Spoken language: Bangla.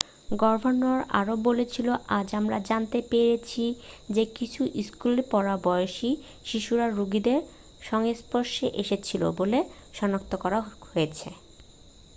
"""গভর্নর আরও বলেছিলেন """আজ আমরা জানতে পেরেছি যে কিছু স্কুলেপড়ার বয়সি শিশুরা রোগীদের সংস্পর্শে এসেছিল বলে সনাক্ত করা হয়েছে।""""""